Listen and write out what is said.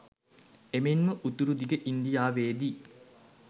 එමෙන්ම උතුරුදිග ඉන්දියාවේ දී